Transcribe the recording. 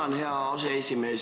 Tänan, hea aseesimees!